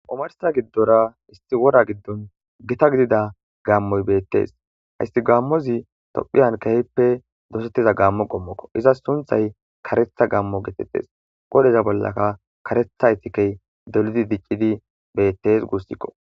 omarsta giddora isti wora giddon gita gidida gammoy beettes hayssi gammozi tophiyan kehippe dosettiza gammo gommokko iza sunthay karetha gammo geetettes qodeza bollaka karetha itikey deludi diccidi beettes guussikko